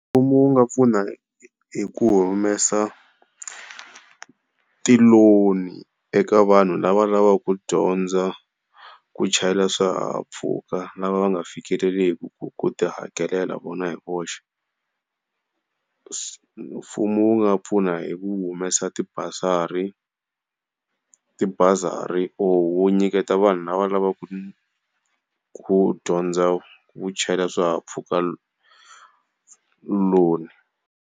Mfumo wu nga pfuna hi ku humesa ti-loan-i eka vanhu lava lavaka ku dyondza ku chayela swihahampfhuka lava va nga fikeleliki ku tihakelela vona hi voxe. Mfumo wu nga pfuna hi ku humesa ti basari, tibazari or wu nyiketa vanhu lava lavaku ku dyondza ku chayela swihahampfhuka loan.